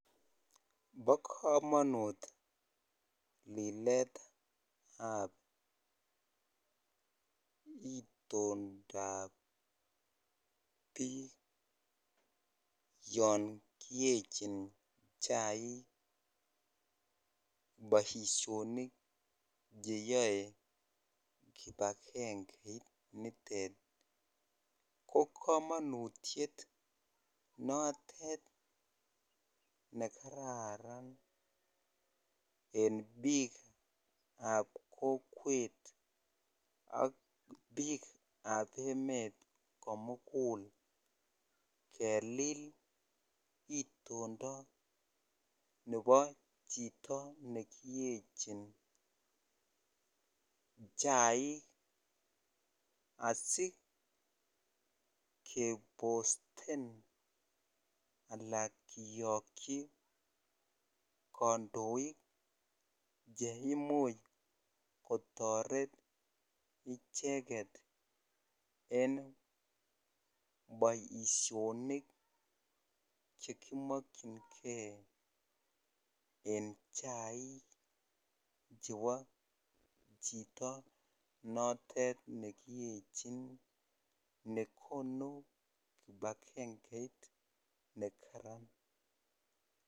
Bokomonut liletab itondab biik yon kiyechin chaik boisionik cheyo kipakengeit nitet kokomonutiet notet nekararan en biikab kokwet ak biikab emet komugul kelil itondo nebo chito nekiyechin chaik asikeposten ala kiyokyik kondoik cheimuch kotoret icheket en boisionik chekimokyingee en chaik chebo chito notet nekiyechin nekonu kipakengeit nekaran.